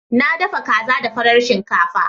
Na dafa kaza da farar shinkafa.